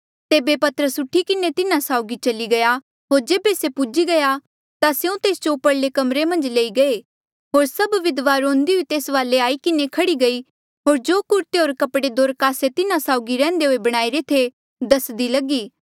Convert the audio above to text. तेबे पतरस उठी किन्हें तिन्हा साउगी चली गया होर जेबे से पुज्ही गया ता स्यों तेस जो उपरले कमरे मन्झ लई गये होर सभ विधवा रोंदी हुई तेस्सा वाले आई किन्हें खह्ड़ी गयी होर जो कुरते होर कपड़े दोरकासे तिन्हा साउगी रैहन्दे हुए बणाईरे थे दसदी लगी